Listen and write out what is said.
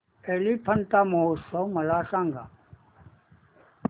एलिफंटा महोत्सव मला सांग